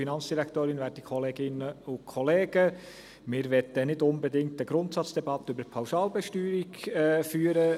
Wir wollen nicht unbedingt eine Grundsatzdebatte über die Pauschalbesteuerung führen.